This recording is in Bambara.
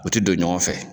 U tɛ don ɲɔgɔn fɛ